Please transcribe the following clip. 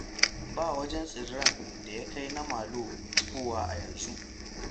Ba wajen tsiren da ya kai na Malo cikowa a yanzu.